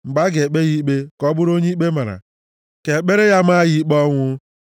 Mgbe a ga-ekpe ya ikpe, ka ọ bụrụ onye ikpe mara, ka ekpere ya maa ya ikpe ọnwụ.